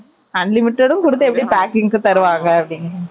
Unlimited ம் கொடுத்து, எப்படி packing தருவாங்க? அப்படின்னு